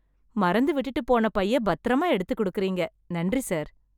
மறந்து விட்டுட்டு போன பையை பத்தரமா எடுத்து குடுக்கறீங்க. நன்றி சார்!